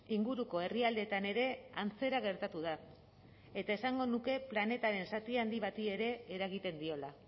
inguruko herrialdeetan ere antzera gertatu da eta esango nuke planetaren zati handi bati ere eragiten diola